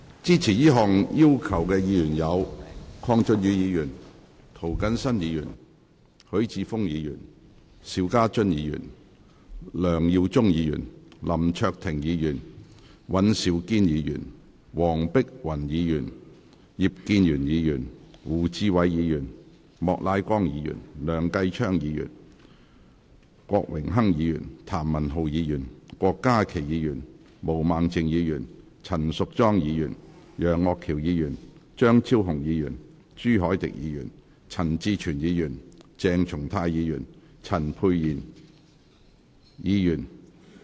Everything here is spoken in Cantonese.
支持這項要求的議員有：鄺俊宇議員、涂謹申議員、許智峯議員、邵家臻議員、梁耀忠議員、林卓廷議員、尹兆堅議員、黃碧雲議員、葉建源議員、胡志偉議員、莫乃光議員、梁繼昌議員、郭榮鏗議員、譚文豪議員、郭家麒議員、毛孟靜議員、陳淑莊議員、楊岳橋議員、張超雄議員、朱凱廸議員、陳志全議員、鄭松泰議員及陳沛然議員。